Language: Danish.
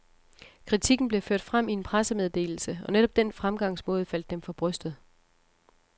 Kritikken blev ført frem i en pressemeddelse, og netop den fremgangsmåde faldt dem for brystet.